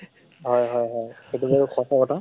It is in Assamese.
হয় হয় হয় । সেইটো বাৰু সঁচা কথা।